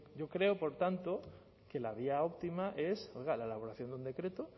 yo creo por tanto que la vía óptima es oiga la elaboración de un decreto